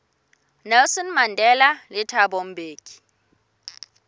nelson mandela le thabo mbeki